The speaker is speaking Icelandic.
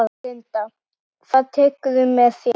Linda: Hvað tekurðu með þér?